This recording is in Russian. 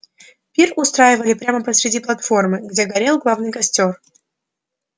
пир устраивали прямо посреди платформы где горел главный костёр